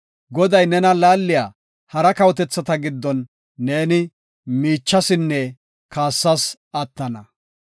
Goday nena laaliya hara kawotethata giddon neeni miichasinne kaassas attana.